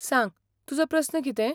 सांग, तुजो प्रस्न कितें?